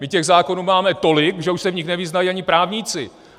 My těch zákonů máme tolik, že už se v nich nevyznají ani právníci!